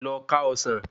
Lọ ká ọsán